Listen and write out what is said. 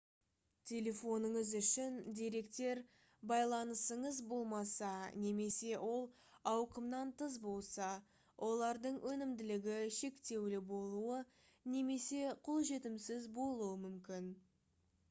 телефоныңыз үшін деректер байланысыңыз болмаса немесе ол ауқымнан тыс болса олардың өнімділігі шектеулі болуы немесе қолжетімсіз болуы мүмкін